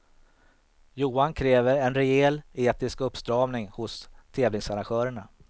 Johan kräver en rejäl etisk uppstramning hos tävlingsarrangörerna.